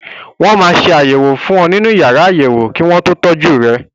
Wọ́n máa ṣe àyẹ̀wò fún ọ nínú yàrá àyẹ̀wò kí wọ́n tó ṣe ìtọ́jú rẹ.